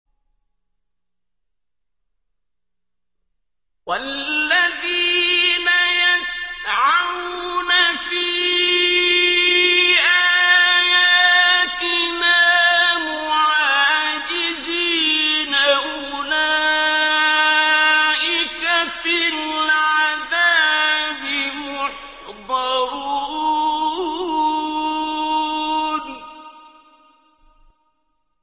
وَالَّذِينَ يَسْعَوْنَ فِي آيَاتِنَا مُعَاجِزِينَ أُولَٰئِكَ فِي الْعَذَابِ مُحْضَرُونَ